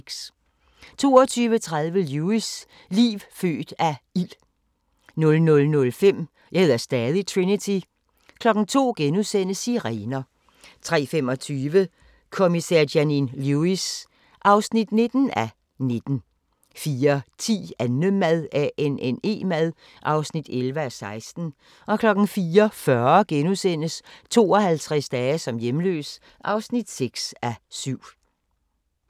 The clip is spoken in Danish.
22:30: Lewis: Liv født af ild 00:05: Jeg hedder stadig Trinity 02:00: Sirener * 03:25: Kommissær Janine Lewis (19:19) 04:10: Annemad (11:16) 04:40: 52 dage som hjemløs (6:7)*